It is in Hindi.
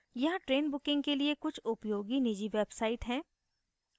यहाँ train booking के लिए कुछ उपयोगी निजी websites हैं